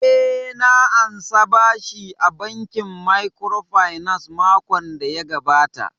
Eh, na ansa bashi a bankin microfinance makon daya gabata